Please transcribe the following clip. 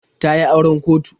Ta yi auren kotu.